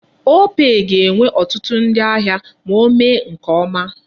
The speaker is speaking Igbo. Opay ga-enwe ọtụtụ ndi ahịa ma mee nke ọma.